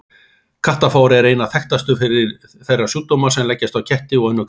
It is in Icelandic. Kattafár er einna þekktastur þeirra sjúkdóma sem leggjast á ketti og önnur kattardýr.